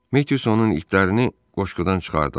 Metyusanın itlərini qoşqudan çıxardılar.